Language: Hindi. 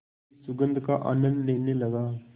की सुगंध का आनंद लेने लगा